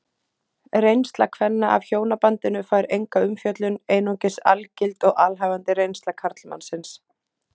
Reynsla kvenna af hjónabandinu fær enga umfjöllun, einungis algild og alhæfandi reynsla karlmannsins.